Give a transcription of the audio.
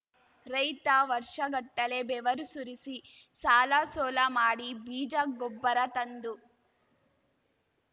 ರೈತ ವರ್ಷಗಟ್ಟಲೇ ಬೆವರು ಸುರಿಸಿ ಸಾಲಸೋಲ ಮಾಡಿ ಬೀಜ ಗೊಬ್ಬರ ತಂದು